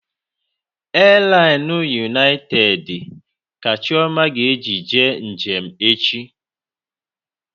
Elainụ yunaitedi ka Chioma ga-eji jee njem echi